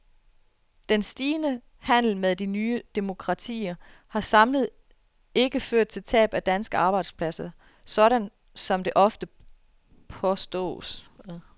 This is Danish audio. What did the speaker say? Den stigende handel med de nye demokratier har samlet ikke ført til tab af danske arbejdspladser, sådan som det ofte påstås.